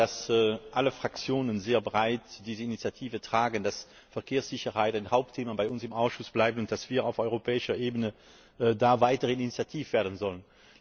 Ich glaube, dass alle Fraktionen sehr breit diese Initiative tragen, dass Verkehrssicherheit ein Hauptthema bei uns im Ausschuss bleibt und dass wir auf europäischer Ebene da weiter initiativ werden sollen.